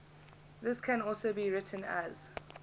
this can also be written as